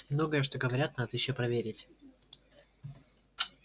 многое что говорят надо ещё проверить